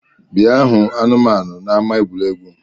Bịa hụ anụmanu n’ama egwuregwu!